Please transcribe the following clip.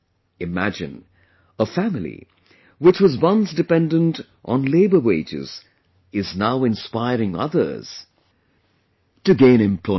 Imagine... a family, which was once dependent on labour wages, is now inspiring others to gain employment